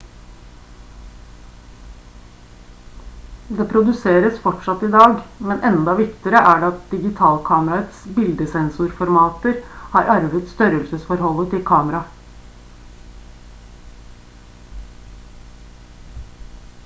det produseres fortsatt i dag men enda viktigere er det at digitalkameraets bildesensorformater har arvet størrelsesforholdet til kameraet